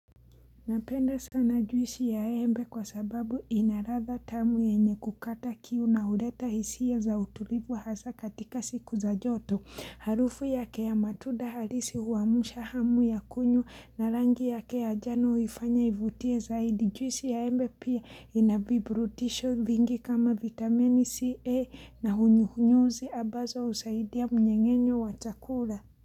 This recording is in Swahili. Napenda sana juisi ya embe kwa sababu ina ladha tamu yenye kukata kiu na huleta hisia za utulivu hasa katika siku za joto. Harufu yake ya matunda halisi huamsha hamu ya kunywa na rangi yake ya jano huifanya ivutie zaidi. Juisi ya embe pia ina viburudisho vingi kama vitamini C, A na hunyuhunyuzi ambazo husaidia mnyeng'enyo wa chakula.